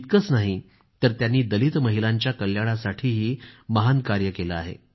इतकंच नाही तर त्यांनी दलित महिलांच्या कल्याणासाठीही महान कार्य केलं आहे